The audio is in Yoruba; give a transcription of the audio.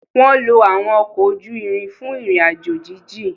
Wọn lo awọn ọkọ ojú ìrin fun ìrìn-àjò jijin